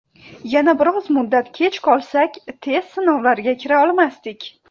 Yana biroz muddat kech qolsak, test sinovlariga kira olmasdik.